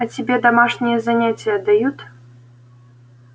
а тебе домашние занятия дают